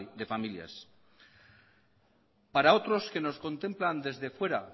de familias para otros que nos contemplan desde fuera